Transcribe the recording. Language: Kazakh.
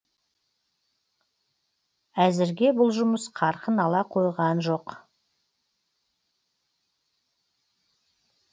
әзірге бұл жұмыс қарқын ала қойған жоқ